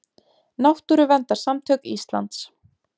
Náttúruverndarsamtök Íslands.